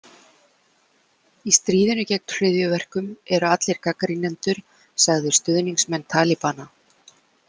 Í stríðinu gegn hryðjuverkum eru allir gagnrýnendur sagðir stuðningsmenn Talibana.